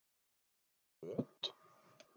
Og föt?